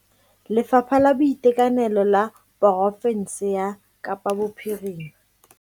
Lefapha la Boitekanelo la porofense ya Kapa Bophirima.